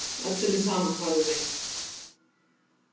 Öllum er sama hvað þú vilt.